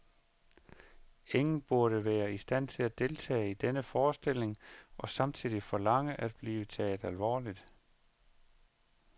Ingen burde være i stand til at deltage i denne forestilling og samtidig forlange at blive taget alvorligt.